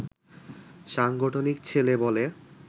সাংগঠনিক ছেলে বলে